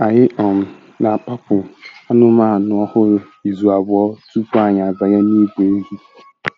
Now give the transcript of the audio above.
Anyị um na-akpapụ anụmanụ ọhụrụ izu abụọ tupu anyị abanye n'ìgwè ehi.